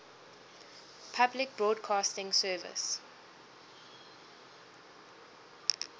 public broadcasting service